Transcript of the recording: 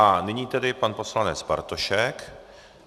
A nyní tedy pan poslanec Bartošek.